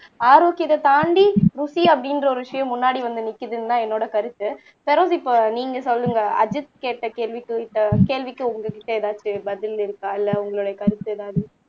ஆரோக்கியத்தை தாண்டி ருசி அப்படின்ற ஒரு விஷயம் முன்னாடி வந்து நிக்குதுன்னுதான் என்னோட கருத்து பெரோஸ் இப்போ நீங்க சொல்லுங்க அஜித் கேட்ட கேள்விக்கு இந்த கேள்விக்கு உங்ககிட்ட எதாச்சும் பதில் இருக்கா இல்ல உங்களுடைய கருத்து எதாவது